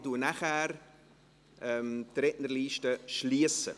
Ich schliesse die Rednerliste danach.